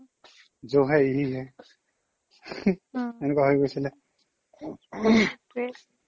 jo হে ইয়েহি hai এনেকুৱা হৈ গৈছিলে